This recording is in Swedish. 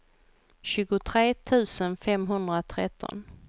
tjugotre tusen femhundratretton